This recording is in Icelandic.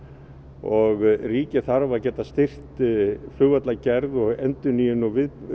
og ríkið þarf að geta styrkt flugvallargerð og endurnýjun og